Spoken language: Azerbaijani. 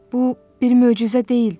Bu bir möcüzə deyildi.